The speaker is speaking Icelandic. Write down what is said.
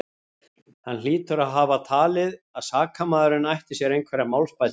Hann hlýtur að hafa talið, að sakamaðurinn ætti sér einhverjar málsbætur.